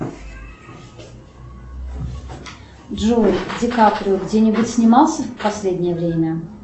джой ди каприо где нибудь снимался в последнее время